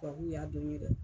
Tubabuw y'a dɔn ye dɛ.